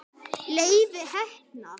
Leifi heppna.